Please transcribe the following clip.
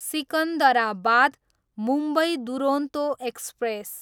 Secunderabad, Mumbai Duronto express